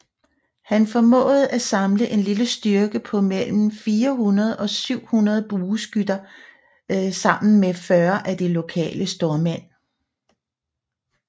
Han formåede at samle en lille styrke på mellem 400 og 700 bueskytter sammen med 40 af de lokale stormænd